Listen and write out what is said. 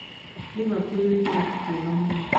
Liverpool nĩ kĩrabũ kĩega mũno